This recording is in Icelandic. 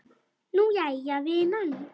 Nú, jæja, vinan.